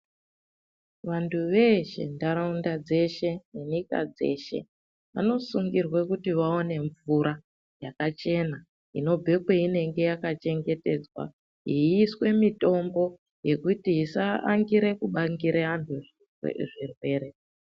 Vantu veshe ntaraunda dzeshe nenyika dzeshe vanosungirwe kuti vawane mvura yakachena inobve kweinenge yakachengetedzwa yeiiswe mitombo yekuti isaangire kubangire antu zvirwere.